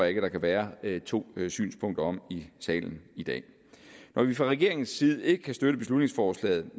ikke der kan være to synspunkter om i salen i dag når vi fra regeringens side ikke kan støtte beslutningsforslaget